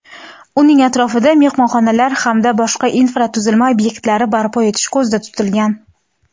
uning atrofida mehmonxonalar hamda boshqa infratuzilma ob’ektlari barpo etish ko‘zda tutilgan.